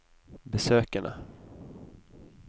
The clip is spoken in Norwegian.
besøkene